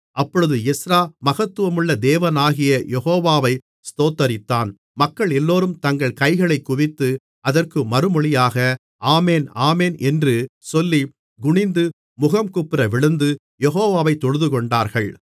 அப்பொழுது எஸ்றா மகத்துவமுள்ள தேவனாகிய யெகோவா வை ஸ்தோத்தரித்தான் மக்களெல்லோரும் தங்கள் கைகளைக் குவித்து அதற்கு மறுமொழியாக ஆமென் ஆமென் என்று சொல்லி குனிந்து முகங்குப்புற விழுந்து யெகோவாவை தொழுதுகொண்டார்கள்